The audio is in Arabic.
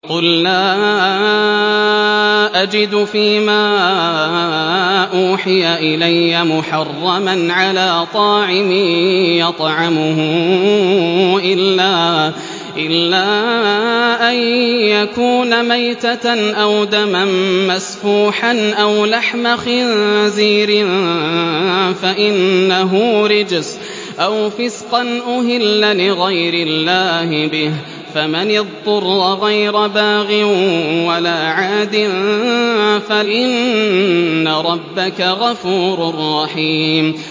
قُل لَّا أَجِدُ فِي مَا أُوحِيَ إِلَيَّ مُحَرَّمًا عَلَىٰ طَاعِمٍ يَطْعَمُهُ إِلَّا أَن يَكُونَ مَيْتَةً أَوْ دَمًا مَّسْفُوحًا أَوْ لَحْمَ خِنزِيرٍ فَإِنَّهُ رِجْسٌ أَوْ فِسْقًا أُهِلَّ لِغَيْرِ اللَّهِ بِهِ ۚ فَمَنِ اضْطُرَّ غَيْرَ بَاغٍ وَلَا عَادٍ فَإِنَّ رَبَّكَ غَفُورٌ رَّحِيمٌ